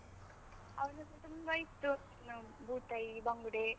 ಅವನತ್ರ ತುಂಬ ಇತ್ತು, ಆ ಬೂತಾಯಿ, ಬಂಗುಡೆ.